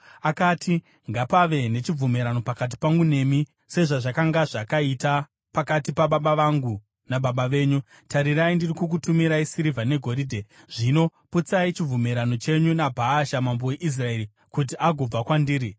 Akati, “Ngapave nechibvumirano pakati pangu nemi, sezvazvakanga zvakaita pakati pababa vangu nababa venyu. Tarirai, ndiri kukutumirai sirivha negoridhe. Zvino putsai chibvumirano chenyu naBhaasha mambo waIsraeri kuti agobva kwandiri.”